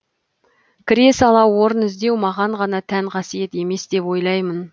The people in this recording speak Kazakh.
кіре сала орын іздеу маған ғана тән қасиет емес деп ойлаймын